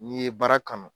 N'i ye baara kanu